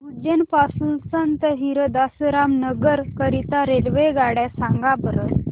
उज्जैन पासून संत हिरदाराम नगर करीता रेल्वेगाड्या सांगा बरं